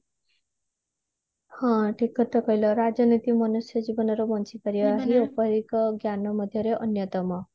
ହଁ ଠିକ କଥା କହିଲ ରାଜନୀତି ମନୁଷ୍ୟ ଜୀବନରେ ଜ୍ଞାନ ମଧ୍ୟରେ ଅନ୍ଯତମ